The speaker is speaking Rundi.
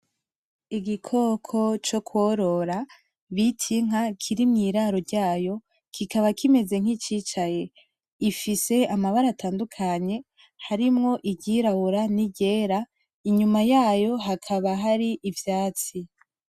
Igikoko co kworora bita inka kiri mwiraro ryayo kikaba kimeze nkicicaye gifise amabara atandukanye harimwo iryera niryirabura, inyuma yayo hakaba harivyatsi.